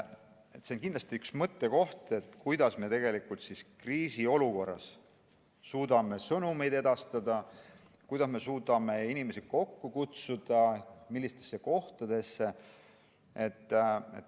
See on kindlasti üks mõttekohti, kuidas me kriisiolukorras suudame sõnumeid edastada, kuidas me suudame inimesi kokku kutsuda, millistesse kohtadesse.